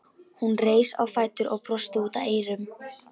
Hún reis á fætur og brosti út að eyrum.